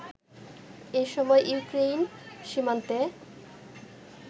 এসময় ইউক্রেইন সীমান্তে